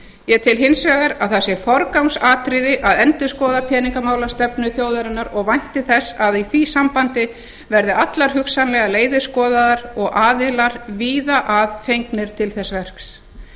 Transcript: ég tel hins vegar að það sé forgangsatriði að endurskoða peningamálastefnu þjóðarinnar og vænti þess að í því sambandi verði allar hugsanlegar leiðir skoðaðar og aðilar víða að fengnir til þess verks